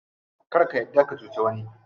Kar ka yarda ka cuci wani.